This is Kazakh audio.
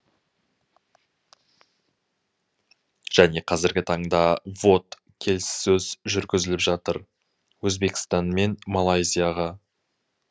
және қазіргі таңда вот келіссөз жүргізіліп жатыр өзбекстанмен малайзияға